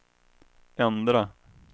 ändra